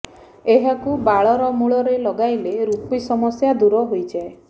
ଏହାକୁ ବାଳର ମୂଳରେ ଲଗାଇଲେ ରୂପି ସମସ୍ୟା ଦୂର ହୋଇଯାଏ